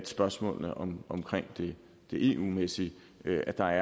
spørgsmålene omkring det eu mæssige at der